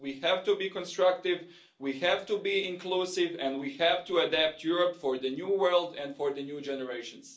We have to be constructive, we have to be inclusive, and we have to adapt Europe for the new world and for the new generations.